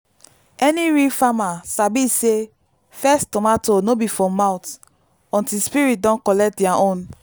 any real farmer sabi say first tomato no be for mouth until spirit don collect their own.